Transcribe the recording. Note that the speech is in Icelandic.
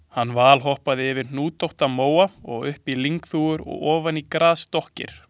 Hann valhoppaði yfir hnútótta móa upp á lyngþúfur og ofan í grasdokkir.